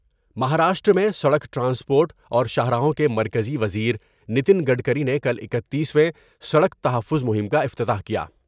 مہاراشٹر میں سڑک ٹرانسپورٹ اور شاہراہوں کے مرکزی و زر نیتن گڈکری نے کل اکتیسو سڑک تحفظ مہم کا افتتاح کیا ۔